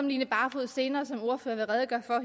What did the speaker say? line barfod senere som ordfører vil redegøre for